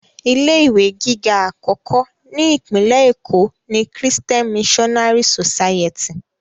Ilé ìwé gíga àkọ́kọ́ ni Ìpínlẹ̀ Èkó ni Christian Missionary society